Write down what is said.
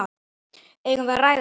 Eigum við að ræða þetta?